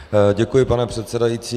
Děkuji, pane předsedající.